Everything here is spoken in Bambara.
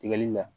Tigɛli la